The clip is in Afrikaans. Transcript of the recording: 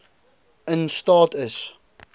in staat is